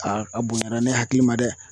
a bonyara ne hakili ma dɛ